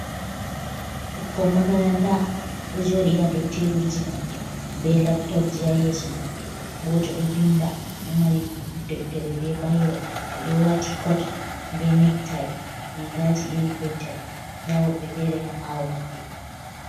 Ɓukkon makaranta ɗo joɗi ha dow teburji mabbe be laptop ji ha yeso maɓɓe, gotel do vinda o ɗo mari deftere be bayro, ɓe ɗo wati cot be nectai rigaji iri gotel, nda wobbe fere ha ɓawo maɓɓe.